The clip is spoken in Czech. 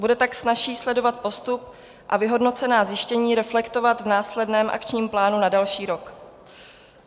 Bude tak snazší sledovat postup a vyhodnocená zjištění reflektovat v následném akčním plánu a další rok.